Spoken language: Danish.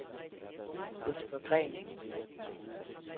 Jesper Green